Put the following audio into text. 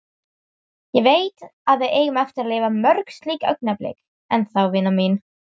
Ég veit, að við eigum eftir að lifa mörg slík augnablik enn þá, vina mín.